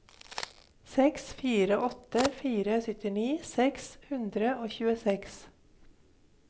seks fire åtte fire syttini seks hundre og tjueseks